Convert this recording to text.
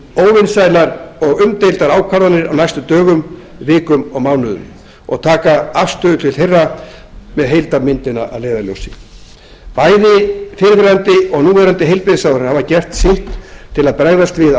óvinsælar og umdeildar ákvarðanir á næstu dögum vikum og mánuðum og taka afstöðu til þeirra með heildarmyndina að leiðarljósi bærði fyrrverandi og núv heilbrigðisráðherrar hafa gert sitt til að bregðast við